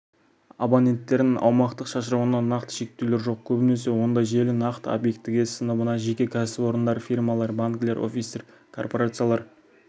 абоненттерін аумақтық шашырауына нақты шектеулер жоқ көбінесе ондай желі нақты объектіге сыныбына жеке кәсіпорындар фирмалар банкілер офистер корпорациялар